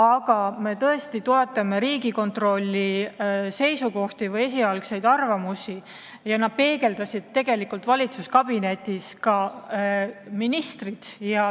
Aga me toetame Riigikontrolli seisukohti või esialgseid arvamusi, neid peegeldasid valitsuskabinetis tegelikult ka ministrid.